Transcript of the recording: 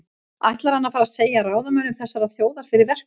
Ætlar hann að fara að segja ráðamönnum þessarar þjóðar fyrir verkum?